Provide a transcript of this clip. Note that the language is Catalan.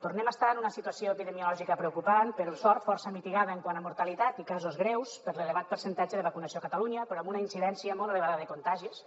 tornem a estar en una situació epidemiològica preocupant per sort força mitigada quant a mortalitat i casos greus per l’elevat percentatge de vacunació a catalunya però amb una incidència molt elevada de contagis